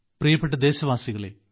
പ്രിയപ്പെട്ട ദേശവാസികളെ